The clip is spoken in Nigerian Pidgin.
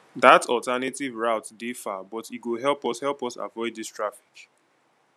dat alternative route dey far but e go help us help us avoid dis traffic